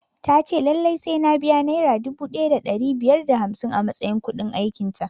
Ta ce lallai sai na biya nera dubu ɗaya da ɗari biyar da hamsin a matsayin kuɗin aikin ta